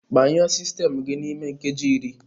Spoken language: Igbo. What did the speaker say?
Gbanyụọ sistemụ gị n'ime nkeji iri!